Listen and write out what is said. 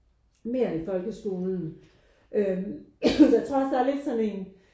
Mere i folkeskolen øh jeg tror også der er lidt sådan en